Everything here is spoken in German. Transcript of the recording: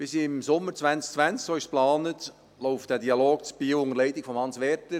Bis im Sommer 2020, so ist es geplant, läuft der Dialog in Biel unter der Leitung von Hans Werder.